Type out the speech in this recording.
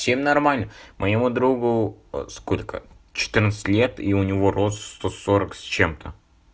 чем нормально моему другу сколько четырнадцать лет и у него рост сто сорок с чем-то